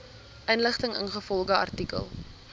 inligting ingevolge artikel